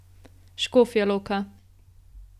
Škofja Loka.